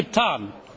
Das habe ich getan.